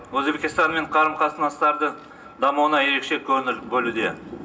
өзбекстанмен қарым қатынастардың дамуына ерекше көңіл бөлуде